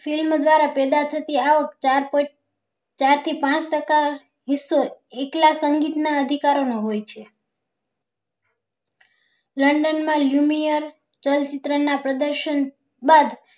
Film દ્વારા પેદા થતી આવક ચાર થી પાંચ ટકા હિસ્સો એકલા સંગીત ના અધિકારો ને હોય છે london માં lumiar ચલચિત્ર ના પ્રદર્શન બાદ